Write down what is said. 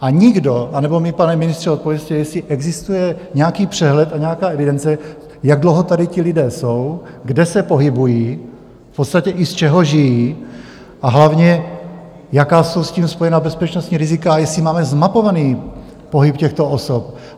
A nikdo - anebo mi, pane ministře, odpovězte, jestli existuje nějaký přehled a nějaká evidence, jak dlouho tady ti lidé jsou, kde se pohybují, v podstatě i z čeho žijí, a hlavně, jaká jsou s tím spojena bezpečnostní rizika a jestli máme zmapovaný pohyb těchto osob.